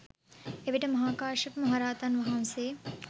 එවිට මහා කාශ්‍යප මහරහතන් වහන්සේ